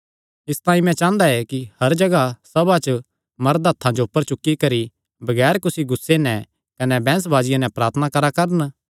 इसतांई मैं चांह़दा ऐ कि हर जगाह सभां च मरद हत्थां जो ऊपर चुक्की करी बगैर कुसी गुस्से कने बैंह्सबाजी नैं प्रार्थना करा करैं